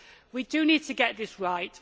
We do need to get this right.